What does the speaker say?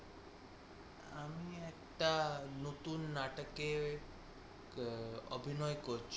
একটা নতুন নাটকের অভিনয় করছি